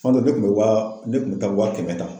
kuma dɔw, ne kun be wa ne kun be taa wa kɛmɛ ta.